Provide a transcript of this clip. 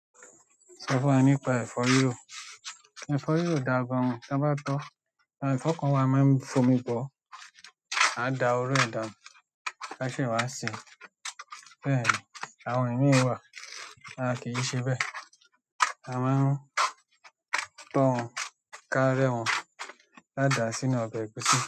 Sọ fún wa nípa ẹ̀fọ́ rírò. Ẹ̀fọ́ rírò dà gan an, ta bá tọ́, àwọn ẹ̀fọ́ kan wa a máa ń fomi bọ́, á da oró ẹ̀ dánu, a se wá sèé. Bẹ́ẹ̀ ni, àwọn ìmí wà, a kì í ṣe bẹ́. A máa ń to wọn, ká rẹ́ wọn, ká dàá sínú ọbẹ̀ ẹ̀gúsí.